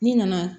N'i nana